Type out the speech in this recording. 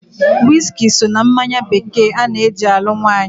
Wiski so na mmanya bekee ana-eji alụ nwaanyị.